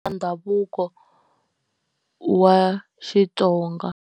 I ndhavuko wa Xitsonga.